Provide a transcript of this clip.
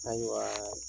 Ayiwa